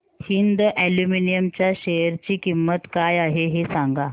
Hind aluminium च्या share ची किंमत काय आहे हे सांगा